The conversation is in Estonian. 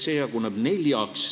Keelekorraldus jaguneb neljaks.